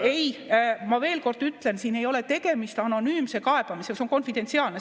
Ei, ma veel kord ütlen, siin ei ole tegemist anonüümse kaebamisega, see on konfidentsiaalne.